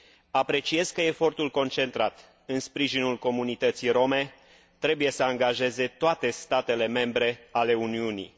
Apreciez că efortul concentrat în sprijinul comunității rome trebuie să angajeze toate statele membre ale Uniunii.